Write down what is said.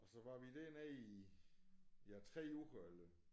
Og så var vi dernede i ja 3 uger eller